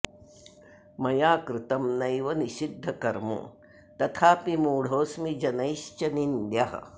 मया कृतं नैव निषिद्धकर्म तथाऽपि मूढोऽस्मि जनैश्च निन्द्यः